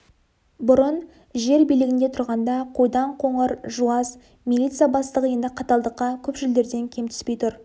бұрын жер билігінде тұрғанда қойдан қоңыр жуас милиция бастығы енді қаталдыққа көпшілдерден кем түспей тұр